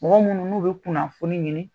Mɔgɔ minnu n'u bɛ kunafoni ɲini.